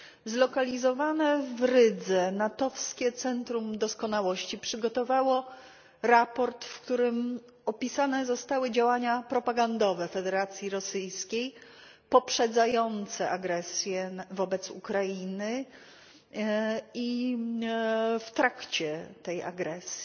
Zlokalizowane w Rydze NATO wskie Centrum Doskonałości przygotowało raport, w którym opisane zostały działania propagandowe Federacji Rosyjskiej poprzedzające agresję wobec Ukrainy i w trakcie tej agresji.